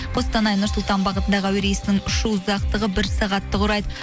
қостанай нұр сұлтан бағытындағы әуе рейсінің үшу ұзақтығы бір сағат құрайды